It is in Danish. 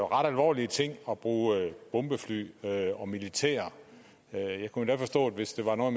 ret alvorlig ting at bruge bombefly og militær jeg kunne endda forstå det hvis det var noget